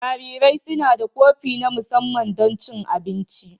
Jarirai suna da kofi na musamman don cin abinci.